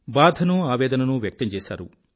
బాధనూ ఆవేదననూ వ్యక్తం చేసారు